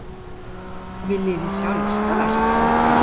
Viljiði sjá listaverk?